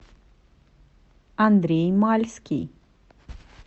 андрей мальский